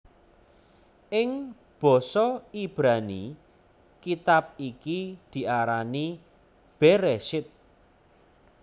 Ing basa Ibrani kitab iki diarani Bereshit